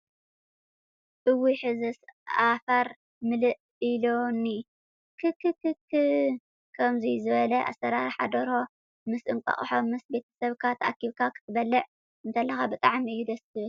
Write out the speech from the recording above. እውይሕዝስ ኣፈር ምልእ ኢሉኒ ክክክክ! ከምዙይ ዝበለ ኣሰራርሓ ደርሆ ምስ እንቋቆሖ ምስ ቤተሰብካ ተኣኪብካ ክትበልዕ እንተለካ ብጣዕሚ እዩ ደስ ዝብል።